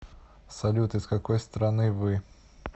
салют из какой страны вы